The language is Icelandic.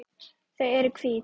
Þau eru hvít.